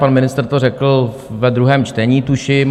Pan ministr to řekl ve druhém čtení, tuším.